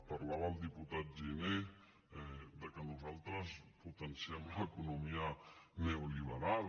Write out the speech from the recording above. parlava el diputat giner de que nosaltres potenciem l’economia neoliberal